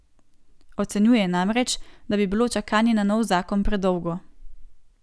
Ocenjuje namreč, da bi bilo čakanje na nov zakon predolgo.